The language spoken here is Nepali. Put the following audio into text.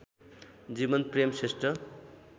जीवनप्रेम श्रेष्ठ